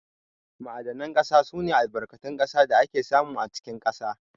Ma'adanan ƙasa sune Albarkatun ƙasa da ake samu a cikin ƙasa.